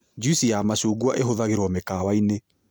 Njuici ya macungwa ĩhũthagĩrwo mĩkawa-inĩ